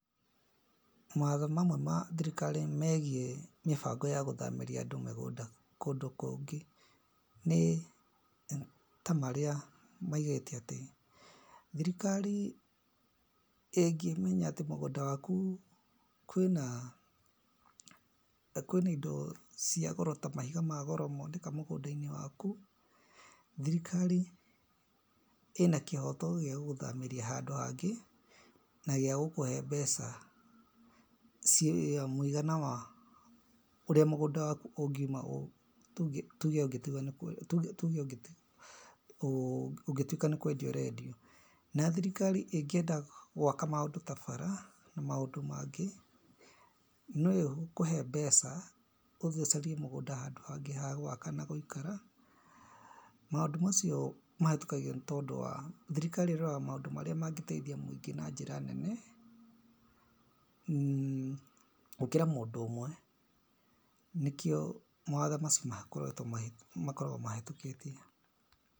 Mawatho mamwe na thirikari megiĩ mĩbango ya gũthamĩria andũ mĩgũnda kũndũ kũngĩ, nĩ ta marĩa maigĩte atĩ, thirikari ĩngĩmenya atĩ mũgũnda waku kwĩna indo cia goro ta mahiga ma goro moneka mũgũnda-inĩ waku, thirikari ĩna kĩhoto gĩa gũgũthamĩria handũ hangĩ, na gĩagũkũhe mbeca ciĩ mũigana wa ũrĩa mũgũnda waku ũngiuma tuge ũngĩtuĩka nĩ kwendio ũrendio. Na thirikari ingĩenda gwaka maũndũ ta bara na maũndũ mangĩ, noyo ĩgũkũhe mbeca ũthiĩ ũcarie handũ hangĩ ha gwaka na gũikara. Maũndũ macio mahĩtũkagio nĩ tondũ wa, thirikari ĩroraga maũndũ marĩa mangĩteithia mũingĩ na njĩra nene gũkĩra mũndũ ũmwe. Nĩkĩo mawatho macio makoragwo mahĩtũkĩtio.